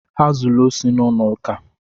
Ha zuru osi n'ụlọ ụka.